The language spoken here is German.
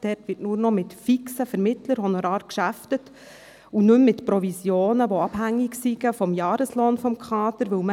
Dort werde nur noch mit fixen Vermittlerhonoraren gearbeitet und nicht mehr mit Provisionen, die vom Jahreslohn des Kaders abhängig sind.